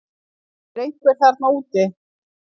Er einhver þarna úti